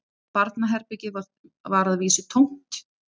Barnaherbergið var að vísu tómt